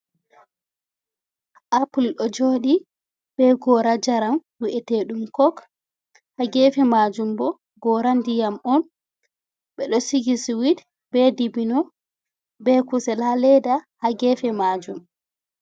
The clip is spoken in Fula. apul ɗo joɗi be gora njaram vieteɗum kok, ha gefe majum bo gora diyam on bedo sigi siwid, be dibino, be kusel haa leda haa gefe majum.